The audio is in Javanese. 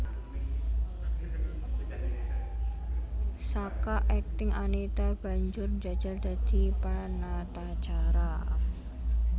Saka akting Anita banjur njajal dadi panatacara